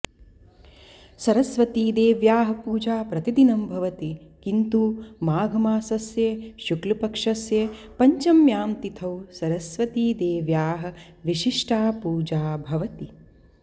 सरस्वतीदेव्याः पूजा प्रतिदिनं भवति किन्तु माघमासस्य शुक्लपक्षस्य पञ्चम्यां तिथौ सरस्वतीदेव्याः विशिष्टा पूजा भवति